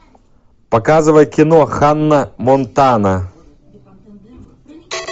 показывай кино ханна монтана